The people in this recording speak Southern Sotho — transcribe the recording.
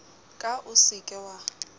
ka o se ke wa